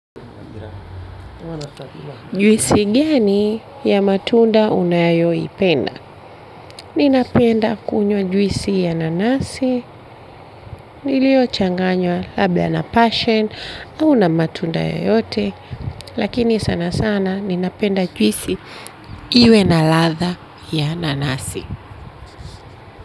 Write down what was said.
Juisi gani ya matunda unayoipenda. Mimi napenda kunywa juisi ya nanasi. Iliyochanganywa labda na passion au na matunda yoyote. Lakini sana sana ninapenda juisi iwe na ladha ya nanasi.